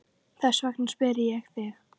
Þess vegna spyr ég þig.